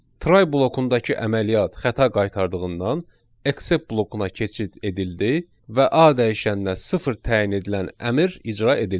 Try blokundakı əməliyyat xəta qaytardığından except blokuna keçid edildi və A dəyişəninə sıfır təyin edilən əmr icra edildi.